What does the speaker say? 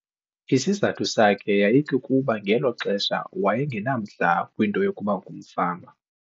Isizathu sakhe yayikukuba ngelo xesha waye ngenamdla kwinto yokuba ngumfama.